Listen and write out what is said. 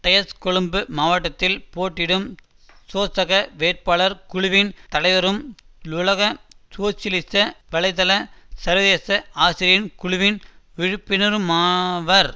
டயஸ் கொழும்பு மாவட்டத்தில் போட்டியிடும் சோசக வேட்பாளர் குழுவின் தலைவரும் லுலக சோசியலிச வலை தள சர்வதேச ஆசிரியர் குழுவின் விலுப்பினருமாவர்